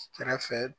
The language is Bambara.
Kɛrɛfɛ